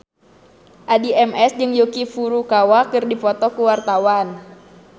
Addie MS jeung Yuki Furukawa keur dipoto ku wartawan